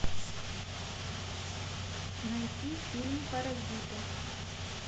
найти фильм паразиты